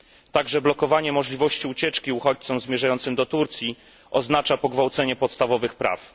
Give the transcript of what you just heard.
Także blokowanie możliwości ucieczki uchodźcom zmierzającym do Turcji oznacza pogwałcenie podstawowych praw.